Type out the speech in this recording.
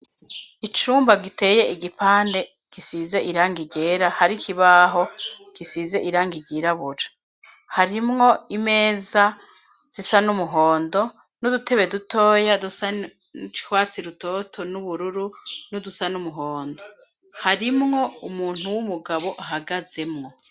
Icumba giteye igipande gisize irangi ryera, hari ikibaho gisize irangi ryirabura. Harimwo imeza zisa n'umuhondo n'udutebe dutoya dusa n'urwatsi rutoto n'ubururu n'udusa n'umuhondo. Harimwo umuntu w'umugabo ahagazemwo.